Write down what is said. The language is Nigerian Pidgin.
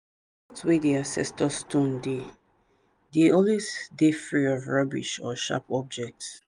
i learn make i dey wait patiently after i pour libation spirit dey take their time to answer am.